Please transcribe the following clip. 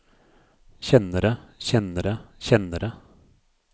kjennere kjennere kjennere